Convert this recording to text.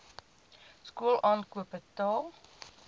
skool aankoop betaal